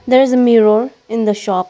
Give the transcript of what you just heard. there is a mirror in the shop.